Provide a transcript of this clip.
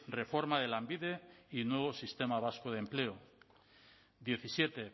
reforma de lanbide y nuevo sistema vasco de empleo diecisiete